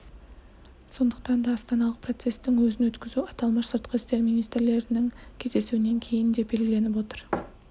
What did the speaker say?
сондықтан да астаналық процестің өзін өткізу аталмыш сыртқы істер министрлерінің кездесуінен кейін деп белгіленіп отыр